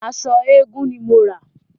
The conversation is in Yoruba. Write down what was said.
Aṣọ eégun ni mo rà.